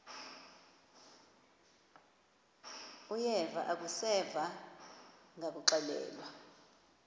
uyeva akuseva ngakuxelelwa